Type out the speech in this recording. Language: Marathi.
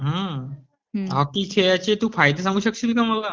हॉकी खेळाचे तू फायदे सांगू शकशील का मला?